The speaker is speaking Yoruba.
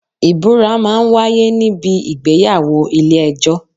Ìbúra máa ń wáyé ní bi ìgbéyàwó ilé ẹjọ́.